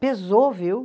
Pesou, viu?